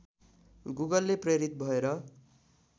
गुगलले प्रेरित भएर